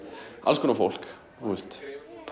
alls konar fólk þú veist